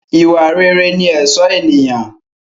Ìwà rere ni ẹ̀ṣọ́ ènìyàn